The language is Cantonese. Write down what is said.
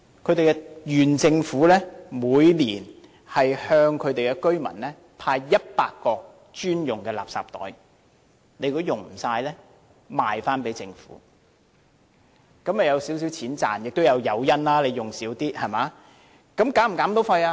它的縣政府每年向居民派100個專用垃圾袋，如果用不完可以賣回給政府，這樣居民便可賺取少許金錢，也有減少使用量的誘因。